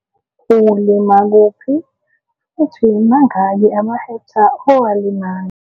Ulima kuphi futhi mangaki amahektha owalimayo?